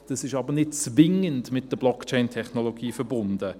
Das ist aber nicht mit der Blockchain-Technologie verbunden.